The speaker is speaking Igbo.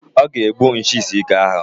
Ọ ga-egbu nchi isi ike ahụ.